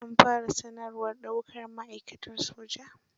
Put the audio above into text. An fara sanarwar daukar ma'aikatan soja.